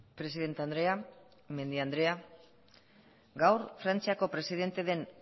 presidente andrea media andrea gaur frantziako presidente den